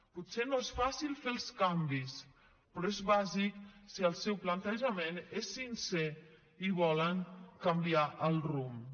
potser no és fàcil fer els canvis però és bàsic si el seu plantejament és sincer i volen canviar el rumb